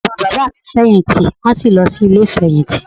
Bàbá bàbá mi fèyìntì wọ́n sì lọ sí Ilé ìfèyìntì